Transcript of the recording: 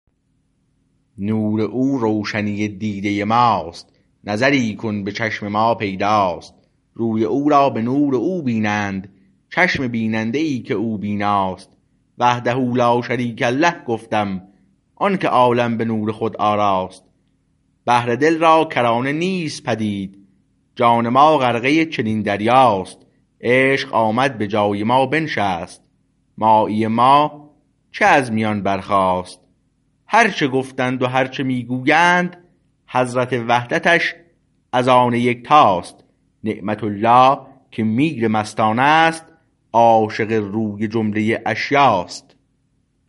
نور او روشنی دیده ماست نظری کن به چشم ما پیداست روی او را به نور او بینند چشم بیننده ای که او بیناست وحده لاشریک له گفتم آنکه عالم به نور خود آراست بحر دل را کرانه نیست پدید جان ما غرقه چنین دریاست عشق آمد به جای ما بنشست مایی ما چه از میان برخاست هرچه گفتند و هرچه می گویند حضرت وحدتش از آن یکتاست نعمت الله که میر مستانست عاشق روی جمله اشیاست